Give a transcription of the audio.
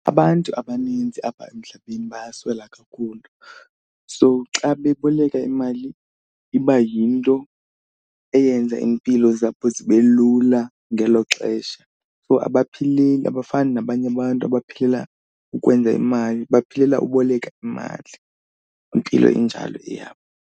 Abantu abaninzi apha emhlabeni bayaswela kakhulu so xa beboleka imali iba yinto eyenza iimpilo zabo zibe lula ngelo xesha. So abaphileli abafani nabanye abantu abaphilela ukwenza imali, baphilela uboleka imali. Impilo injalo eyabo.